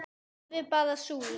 Alveg bara súr